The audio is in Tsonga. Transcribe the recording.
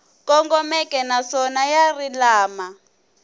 kongomeke naswona ya ri lama